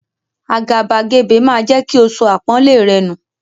Àgàbàgebè máa jẹ́ kí o sọ àpọ́nlé rẹ nù.